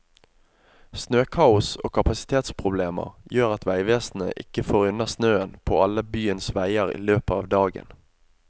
Snøkaos og kapasitetsproblemer gjør at veivesenet ikke får unna snøen på alle byens veier i løpet av dagen.